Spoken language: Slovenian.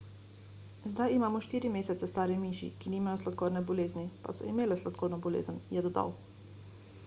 zdaj imamo 4 mesece stare miši ki nimajo sladkorne bolezni pa so imele sladkorno bolezen je dodal